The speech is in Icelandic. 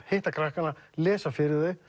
hitta krakkana lesa fyrir þau